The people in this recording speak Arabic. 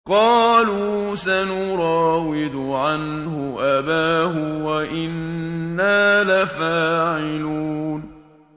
قَالُوا سَنُرَاوِدُ عَنْهُ أَبَاهُ وَإِنَّا لَفَاعِلُونَ